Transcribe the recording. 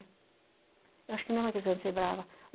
Eu acho que não é uma questão de ser brava.